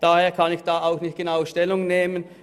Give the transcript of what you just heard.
Daher kann ich dazu auch nicht genau Stellung nehmen.